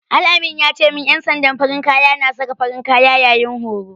Al-amin ya ce min ƴan sandan farin kaya na saka farin kaya yayin horo.